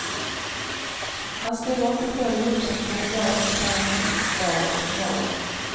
Han ställer inte själv upp som kandidat i parlamentsvalet i morgon.